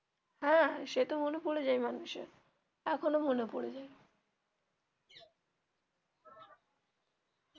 হ্যা সে তো মনে পরে যায় মানুষ এর এখনো মনে পরে যায়.